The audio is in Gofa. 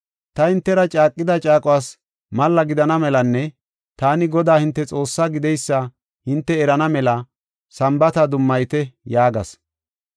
Ta hintera caaqida caaquwas malla gidana melanne taani Godaa hinte Xoossaa gideysa hinte erana mela Sambaata dummayite” yaagas.